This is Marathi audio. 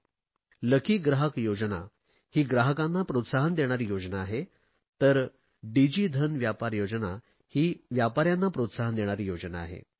भाग्यवान ग्राहक योजना ही ग्राहकांना प्रोत्साहन देणारी योजना आहे तर डिजी धन व्यापार योजना ही व्यापाऱ्यांना प्रोत्साहन देणारी योजना आहे